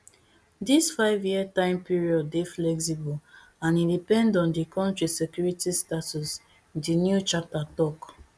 dis fiveyear time period dey flexible and e depend on di kontri security status di new charter tok